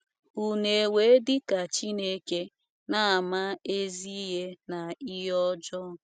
“ Ụnu ewee dị ka Chineke, na - ama ezi ihe na ihe ọjọọ ”